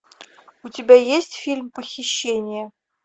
у тебя есть фильм похищение